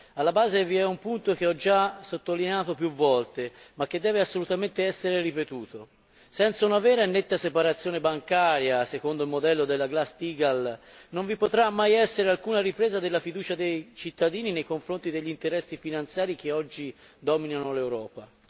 Alla base vi è un punto che ho già sottolineato più volte, ma che deve assolutamente essere ripetuto senza una vera e netta separazione bancaria secondo il modello della Glass Steagall non vi potrà mai essere alcuna ripresa della fiducia dei cittadini nei confronti degli interessi finanziari che oggi dominano l'Europa.